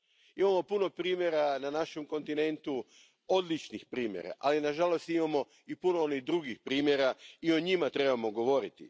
Imamo puno primjera na našem kontinentu, odličnih primjera, ali na žalost imamo i puno onih drugih primjera i o njima trebamo govoriti.